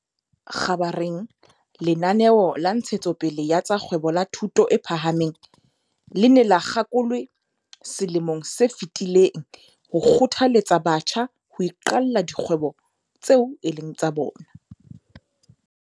Kgabareng lenaneo la Ntshe tsopele ya tsa Kgwebo la Thuto e Phahameng le ne le kgakolwe selemong se fetileng ho kgothaletsa batjha ho iqalla dikgwebo tseo e leng tsa bona.